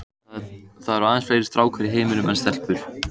Það eru aðeins fleiri stákar í heiminum en stelpur.